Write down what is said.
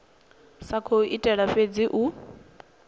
sa khou itela fhedzi u